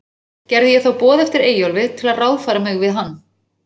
Gerði ég þá boð eftir Eyjólfi, til að ráðfæra mig við hann.